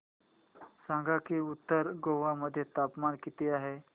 सांगा की उत्तर गोवा मध्ये तापमान किती आहे